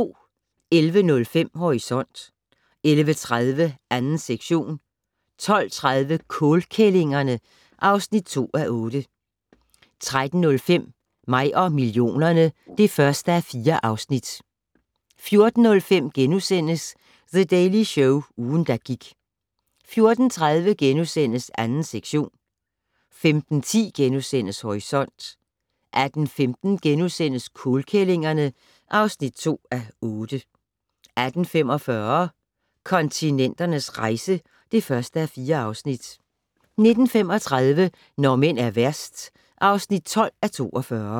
11:05: Horisont 11:30: 2. sektion 12:30: Kålkællingerne (2:8) 13:05: Mig og millionerne (1:4) 14:05: The Daily Show - ugen, der gik * 14:30: 2. sektion * 15:10: Horisont * 18:15: Kålkællingerne (2:8)* 18:45: Kontinenternes rejse (1:4) 19:35: Når mænd er værst (12:42)